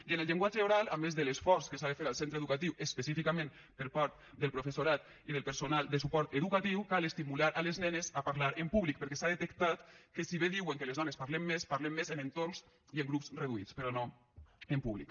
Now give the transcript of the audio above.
i en el llenguatge oral a més de l’esforç que s’ha de fer al centre educatiu específicament per part del professorat i del personal de suport educatiu cal estimular les nenes a parlar en públic perquè s’ha detectat que si bé diuen que les dones parlem més parlem més en entorns i en grups reduïts però no en públic